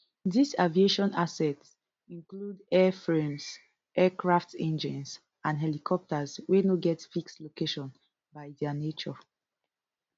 dis aviation assets include airframes aircraft engines and helicopters wey no get fixed location by dia nature